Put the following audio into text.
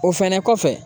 O fɛnɛ kɔfɛ